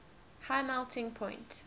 high melting point